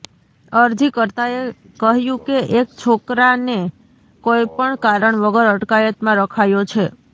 અરજીકર્તાએ કહ્યું કે એક છોકરાને કોઈ પણ કારણ વગર અટકાયતમાં રખાયો છે